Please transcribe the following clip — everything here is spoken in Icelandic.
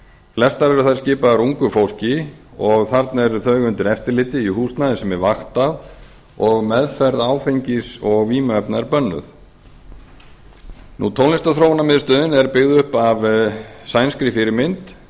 flestar eru þær skipaðar ungu fólki og þarna eru þau undir eftirliti í húsnæði sem er vaktað og meðferð áfengis og vímuefna er bönnuð tónlistarþróunarmiðstöðin er byggð upp að sænskri fyrirmynd